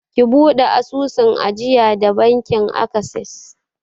Ki buɗe asusun ajiya da bankin akses!